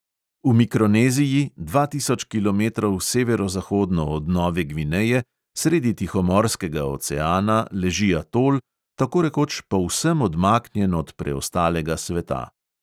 V mikroneziji, dva tisoč kilometrov severozahodno od nove gvineje, sredi tihomorskega oceana leži atol, tako rekoč povsem odmaknjen od preostalega sveta.